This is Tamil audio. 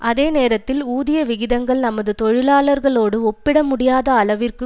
அதே நேரத்தில் ஊதிய விகிதங்கள் நமது தொழிலாளர்களோடு ஒப்பிட முடியாத அளவிற்கு